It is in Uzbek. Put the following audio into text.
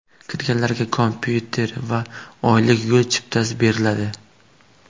Kirganlarga kompyuter va oylik yo‘l chiptasi beriladi.